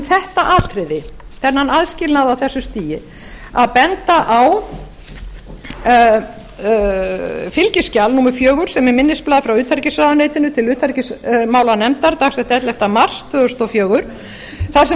þetta atriði þennan aðskilnað á þessu stigi að benda á fylgiskjal númer fjögur sem er minnisblað frá utanríkisráðuneytinu til utanríkismálanefndar dagsett ellefta mars tvö þúsund og fjögur þar sem